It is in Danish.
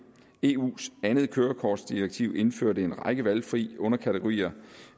eus andet kørekortdirektiv indførte en række valgfrie underkategorier